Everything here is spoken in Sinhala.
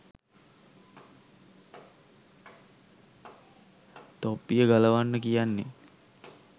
තොප්පිය ගලවන්න කියන්නේ